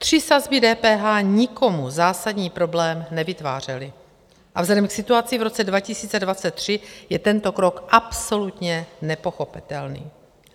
Tři sazby DPH nikomu zásadní problém nevytvářely a vzhledem k situaci v roce 2023 je tento krok absolutně nepochopitelný.